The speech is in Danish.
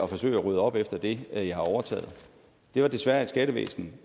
forsøge at rydde op efter det jeg har overtaget det var desværre et skattevæsen